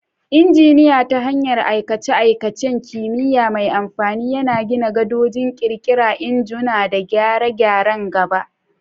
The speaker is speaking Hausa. Injiniya, ta hanyar aikace-aikacen kimiyya mai amfani, yana gina gadoji, ƙirƙira injuna, da gyare-gyaren gaba.